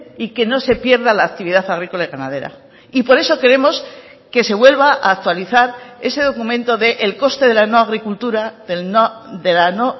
y que no se pierda la actividad agrícola y ganadera y por eso queremos que se vuelva a actualizar ese documento del coste de la nueva agricultura de la no